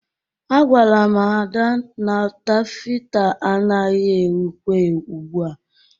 Agwala m ri Ada na tafeta anagị ewikwa ugbu a